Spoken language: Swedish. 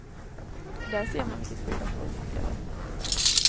Där ser man vilket skyddat liv man lever.